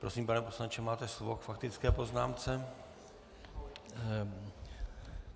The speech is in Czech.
Prosím, pane poslanče, máte slovo k faktické poznámce.